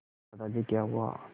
दादाजी क्या हुआ